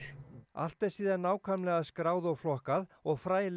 allt er síðan nákvæmlega skráð og flokkað og